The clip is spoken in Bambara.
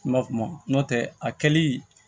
Kuma kuma n'o tɛ a kɛli